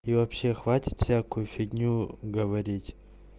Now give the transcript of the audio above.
и вообще хватит всякую фигню говорить